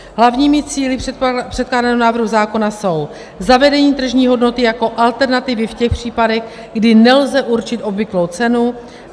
Hlavními cíli předkládaného návrhu zákona jsou zavedení tržní hodnoty jako alternativy v těch případech, kdy nelze určit obvyklou cenu;